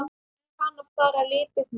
Í hana fara liprir menn.